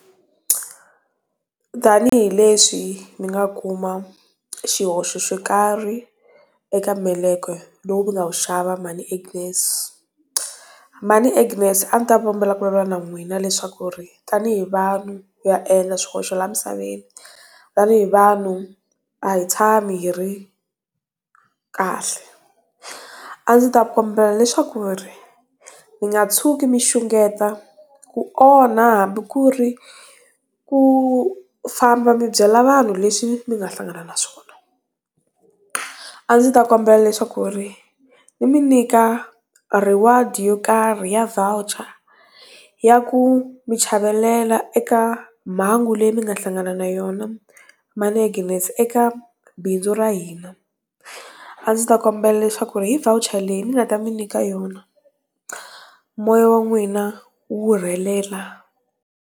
Tanihi leswi mi nga kuma xihoxo xo karhi eka meleke lowu mi nga wu xava mhani Agnes. Mhani Agnes a ni ta kombela ku vulavula na n'wina leswaku ri, tanihi vanhu ha endla swihoxo laha misaveni. Tanihi vanhu a hi tshami hi ri, kahle. A ndzi ta kombela leswaku ri, mi nga tshuki mi xungeta, ku onha hambi ku ri, ku famba mi byela vanhu leswi mi nga hlangana na swona. A ndzi ta kombela leswaku ri ni mi nyika riward-i yo karhi ya voucher. Ya ku mi chavelela eka mhangu leyi mi nga hlangana na yona, mhani Agnes eka bindzu ra hina. A ndzi ta kombela leswaku ri hi voucher leyi ni nga ta mi nyika yona moya wa n'wina wu rhelela.